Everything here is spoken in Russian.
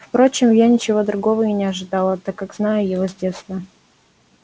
впрочем я ничего другого и не ожидала так как знаю его с детства